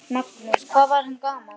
Magnús: Hvað var hann gamall?